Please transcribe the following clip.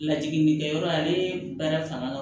Lajiginkɛyɔrɔ ale baara fanga ka